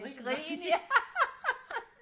et grin ja